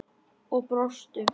Og brostu.